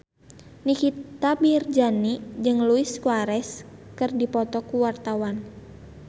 Nikita Mirzani jeung Luis Suarez keur dipoto ku wartawan